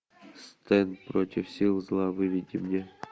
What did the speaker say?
стэн против сил зла выведи мне